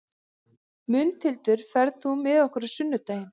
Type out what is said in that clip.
Mundhildur, ferð þú með okkur á sunnudaginn?